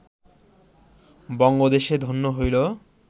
বঙ্গদেশে ধন্য হইল